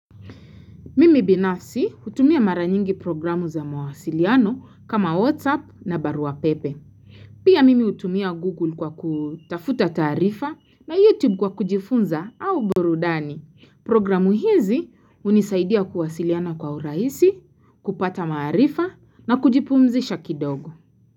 Mimi binafsi hutumia mara nyingi programu za mawasiliano kama WhatsApp na baruapepe. Pia mimi hutumia Google kwa kutafuta taarifa na YouTube kwa kujifunza au burudani. Programu hizi unisaidia kuwasiliana kwa urahisi, kupata maarifa na kujipumzisha kidogo.